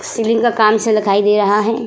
Ceiling का काम सा लखाई दे रहा है।